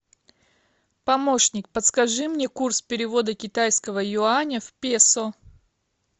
помощник подскажи мне курс перевода китайского юаня в песо